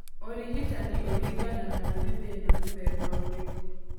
Ũrigitani ũringanaga na nĩ thĩna mũthemba ũrĩkũ.